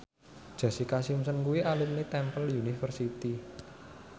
Jessica Simpson kuwi alumni Temple University